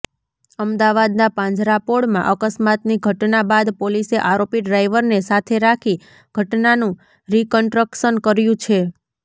અમદાવાદના પાંજરાપોળમાં અકસ્માતની ઘટના બાદ પોલીસે આરોપી ડ્રાઈવરને સાથે રાખી ઘટનાનું રિકન્ટ્રક્શન કર્યુ છે